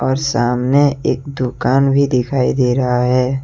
और सामने एक दुकान भी दिखाई दे रहा है।